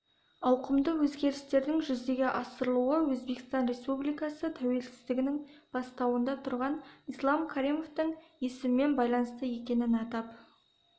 ауқымды өзгерістердің жүзеге асырылуы өзбекстан республикасы тәуелсіздігінің бастауында тұрған ислам каримовтің есімімен байланысты екенін атап